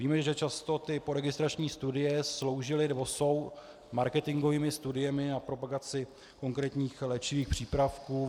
Víme, že často ty poregistrační studie sloužily či jsou marketingovými studiemi na propagaci konkrétních léčivých přípravků.